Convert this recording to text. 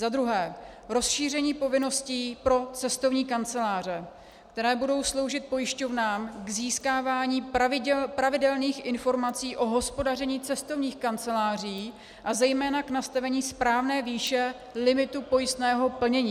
Za druhé rozšíření povinností pro cestovní kanceláře, které budou sloužit pojišťovnám k získávání pravidelných informací o hospodaření cestovních kanceláří a zejména k nastavení správné výše limitu pojistného plnění.